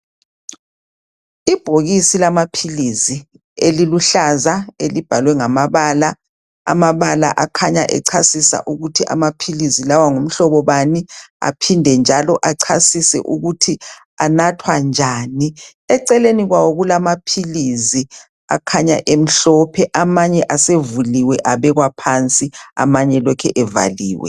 Ibhokisi lamaphilisi eliluhlaza elibhalwe ngamabala akhanya echasisa ukuthi amaphilisi lawa ngumhlobo bani aphinde njalo achasise ukuthi anathwa njani. Eceleni kwawo kulamaphilisi akhanya emhlophe. Amanye asevuliwe abekwa phansi amanye lokhe evaliwe.